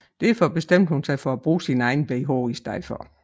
Derfor bestemte hun sig for at bruge sin egen bh i stedet